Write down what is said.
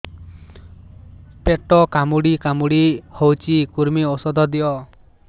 ପେଟ କାମୁଡି କାମୁଡି ହଉଚି କୂର୍ମୀ ଔଷଧ ଦିଅ